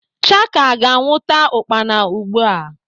Chaka ga-anwụta ukpana ugbu a.